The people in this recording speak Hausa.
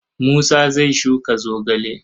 Musa zai shuka zogale.